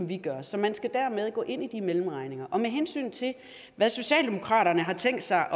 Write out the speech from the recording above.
vi gør så man skal derfor gå ind i de mellemregninger med hensyn til hvad socialdemokraterne har tænkt sig